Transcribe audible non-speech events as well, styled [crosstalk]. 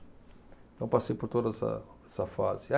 Então, passei por toda essa, essa fase. [unintelligible]